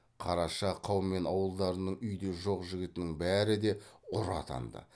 қараша қаумен ауылдарының үйде жоқ жігітінің бәрі де ұры атанды